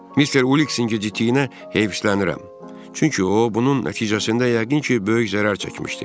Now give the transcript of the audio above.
Mister Uiksin gecikdiyinə heyiflənirəm, çünki o, bunun nəticəsində yəqin ki, böyük zərər çəkmişdi.